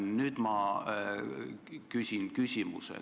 Nüüd ma küsin küsimuse.